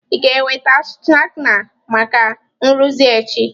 Ị ga-ewega skana maka nrụzi echi.